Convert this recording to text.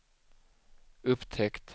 upptäckt